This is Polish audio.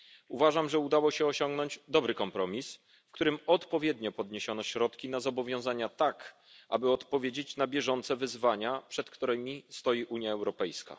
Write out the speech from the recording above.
Uważam, że udało się osiągnąć dobry kompromis, w którym odpowiednio podniesiono środki na zobowiązania tak, aby odpowiedzieć na bieżące wyzwania, przed którymi stoi Unia Europejska.